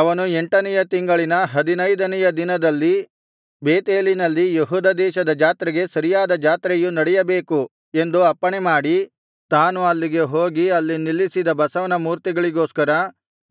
ಅವನು ಎಂಟನೆಯ ತಿಂಗಳಿನ ಹದಿನೈದನೆಯ ದಿನದಲ್ಲಿ ಬೇತೇಲಿನಲ್ಲಿ ಯೆಹೂದ ದೇಶದ ಜಾತ್ರೆಗೆ ಸರಿಯಾದ ಜಾತ್ರೆಯು ನಡೆಯಬೇಕು ಎಂದು ಅಪ್ಪಣೆ ಮಾಡಿ ತಾನು ಅಲ್ಲಿಗೆ ಹೋಗಿ ಅಲ್ಲಿ ನಿಲ್ಲಿಸಿದ ಬಸವನ ಮೂರ್ತಿಗಳಿಗೋಸ್ಕರ